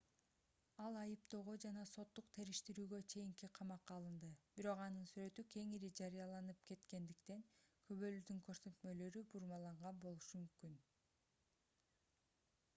ал айыптоого жана соттук териштирүүгө чейин камакка алынды бирок анын сүрөтү кеңири жарыяланып кеткендиктен күбөлөрдүн көрсөтмөлөрү бурмаланган болушу мүмкүн